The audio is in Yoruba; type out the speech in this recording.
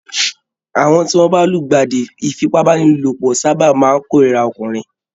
Àwọn tí wọ́n bá lùgbàdì ìfipábánilòpọ̀ sáábà máa kórìíra ọkùnrin